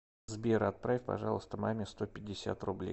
сбер отправь пожалуйста маме сто пятьдесят рублей